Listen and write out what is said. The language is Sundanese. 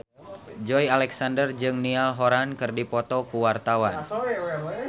Joey Alexander jeung Niall Horran keur dipoto ku wartawan